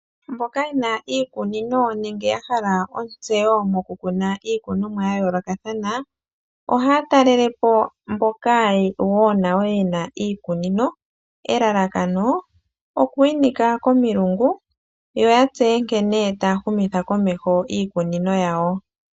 Mboka ye na iikunino nenge ya hala ontseyo mo ku kuna iikunomwa ya yoolokathana ohaya talele po mboka wo nayo ye na iikunino, elalakano oku inika komilungu yo ya tseye nkene taya humitha komeho iikunino yawo.